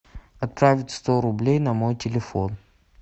отправить сто рублей на мой телефон